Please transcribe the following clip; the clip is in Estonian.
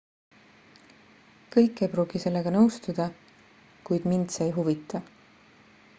kõik ei pruugi sellega nõustuda kuid mind see ei huvita